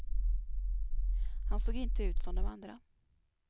Han såg inte ut som de andra.